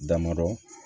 Damadɔ